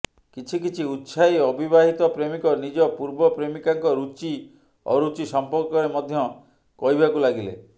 କିଛି କିଛି ଉତ୍ସାହୀ ଅବିବାହିତ ପ୍ରେମିକ ନିଜ ପୂର୍ବ ପ୍ରେମିକାଙ୍କ ରୁଚି ଅରୁଚି ସମ୍ପର୍କରେ ମଧ୍ୟ କହିବାକୁ ଲାଗିଲେ